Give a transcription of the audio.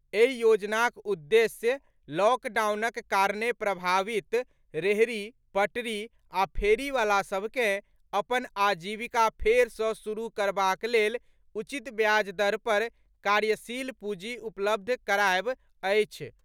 एहि योजनाक उद्देश्य लॉकडाउनक कारणे प्रभावित रेहड़ी, पटरी आ फेरीवालासभकेँ अपन आजीविका फेरसँ सुरुह करबाक लेल उचित ब्याज दर पर कार्यशील पूजी उपलब्ध करायब अछि।